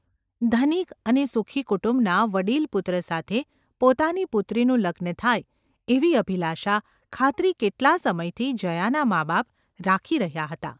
ધનિક અને સુખી કુટુંબના વડીલ પુત્ર સાથે પોતાની પુત્રીનું લગ્ન થાય એવી અભિલાષા–ખાતરી કેટલા સમયથી જયાનાં માબાપ રાખી રહ્યાં હતાં.